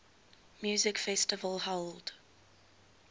music festival held